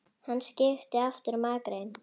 Hann skipti aftur um akrein.